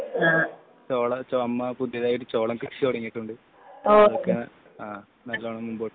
ചോളം അമ്മ പുതിയതായി ചോളം കൃഷി തുടങ്ങിയിട്ടുണ്ട് നന്നായി മുൻപോട്ട് പോവുന്നുണ്ട്